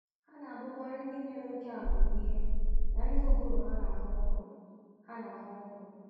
Ha na-abụkarị ndị nwere amamihe na ndị ụbụrụ ha na-aghọ nkọ. ha na-aghọ nkọ. ”